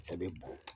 A sɛbɛn bɔn